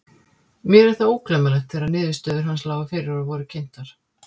Mér er það ógleymanlegt þegar niðurstöður hans lágu fyrir og voru kynntar.